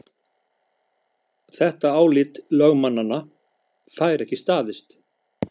Þetta álit lögmannanna fær ekki staðist